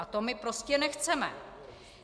A to my prostě nechceme.